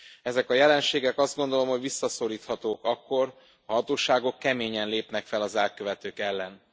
Ezek a jelenségek, azt gondolom, hogy visszaszoríthatóak akkor, ha a hatóságok keményen lépnek fel az elkövetők ellen.